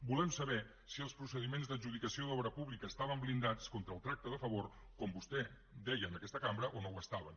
volem saber si els procediments d’adjudicació d’obra pública estaven blindats contra el tracte de favor com vostè deia en aquesta cambra o no ho estaven